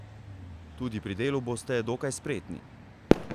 Tudi pri delu boste dokaj spretni.